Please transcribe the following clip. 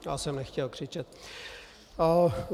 Já jsem nechtěl křičet.